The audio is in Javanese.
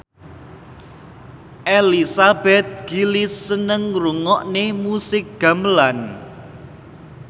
Elizabeth Gillies seneng ngrungokne musik gamelan